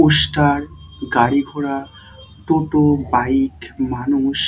poster গাড়ি ঘোরার টোটো বাইক মানুষ --